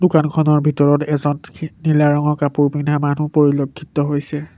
দোকানখনৰ ভিতৰত এজন সি নীলা ৰঙৰ কাপোৰ পিন্ধা মানুহ পৰিলক্ষিত হৈছে।